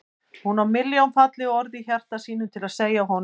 Hún á milljón falleg orð í hjarta sínu til að segja honum.